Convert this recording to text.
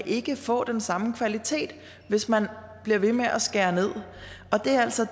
ikke kan få den samme kvalitet hvis man bliver ved med at skære ned og det er altså